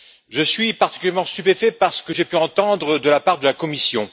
Je suis particulièrement stupéfait par ce que j'ai pu entendre de la part de la Commission.